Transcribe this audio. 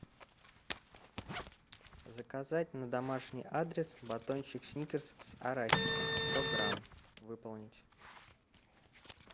заказать на домашний адрес батончик сникерс с арахисом сто грамм выполнить